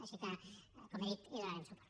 així que com he dit hi donarem suport